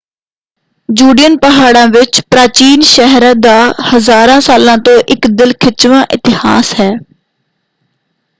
ਜੁਡੀਅਨ ਪਹਾੜਾਂ ਵਿੱਚ ਪ੍ਰਾਚੀਨ ਸ਼ਹਿਰ ਦਾ ਹਜ਼ਾਰਾਂ ਸਾਲਾਂ ਤੋਂ ਇਕ ਦਿਲ ਖਿੱਚਵਾਂ ਇਤਿਹਾਸ ਹੈ।